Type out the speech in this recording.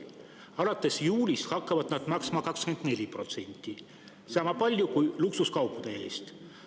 Alates juulist hakkavad nad maksma 24%, sama palju kui luksuskaupade eest.